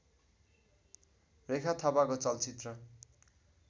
रेखा थापाको चलचित्र